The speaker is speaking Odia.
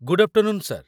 Good afternoon, sir !